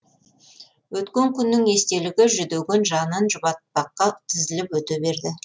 өткен күннің естелігі жүдеген жанын жұбатпаққа тізіліп өте берді